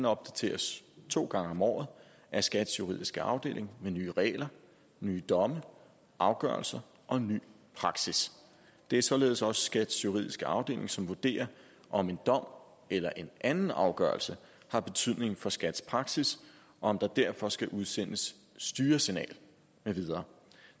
opdateres to gange om året af skats juridiske afdeling med nye regler nye domme afgørelser og ny praksis det er således også skats juridiske afdeling som vurderer om en dom eller en anden afgørelse har betydning for skats praksis og om der derfor skal udsendes styresignal med videre